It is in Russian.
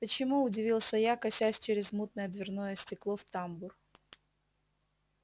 почему удивился я косясь через мутное дверное стекло в тамбур